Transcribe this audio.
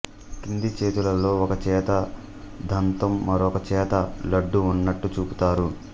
క్రింది చేతులలో ఒకచేత దంతం మరొకచేత లడ్డూ ఉన్నట్లు చూపుతారు